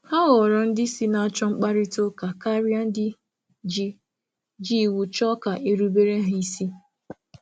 Hà na-ahọ ndị isi na-akpọ mkparịta ụka, ọ bụghị ndị na-enye iwu ka a soro ha.